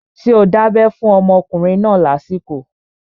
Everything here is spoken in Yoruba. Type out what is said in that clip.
Ṣé o dábẹ́ fún ọmọkùnrin náà lásìkò?